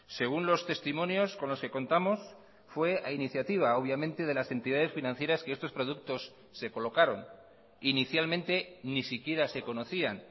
según los testimonios con los que contamos fue a iniciativa obviamente de las entidades financieras que estos productos se colocaron inicialmente ni siquiera se conocían